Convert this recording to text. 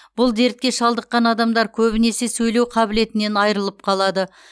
бұл дертке шалдыққан адамдар көбінесе сөйлеу қабілетінен айрылып қалады